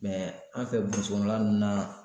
an fɛ burusi kɔnɔna ninnu na